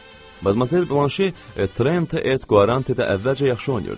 Madmazel Blanşe Trent Et Quarante-də əvvəlcə yaxşı oynayırdı.